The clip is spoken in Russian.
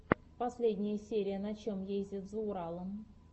последняя серия на чем ездят за уралом